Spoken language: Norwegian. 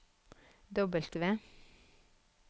W